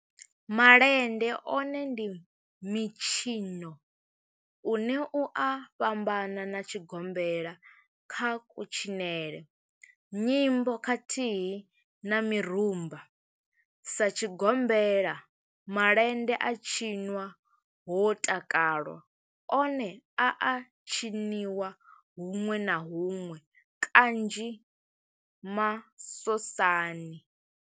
Malende one ndi mitshino une u a fhambana na tshigombela kha kutshinele, nyimbo khathihi na mirumba. Sa tshigombela, malende a tshinwa ho takalwa, one a a tshiniwa hunwe na hunwe kanzhi masosani.